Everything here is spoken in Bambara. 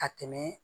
Ka tɛmɛ